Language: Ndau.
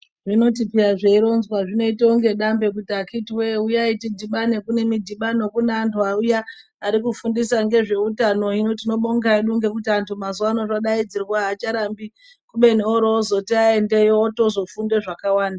Zvinoti kana zvoronzwa zvinoita kunge dambe kuti bakiti wee huyayi tidibane, kunemidibano kune anhu vawuya arikufundisa ngezvehutano. Yino tinobonga hedu nekuti vantu mazuvaano kungodaidzirwa havacharambi kumbeni ozotivaenda otozofunda zvakawanda.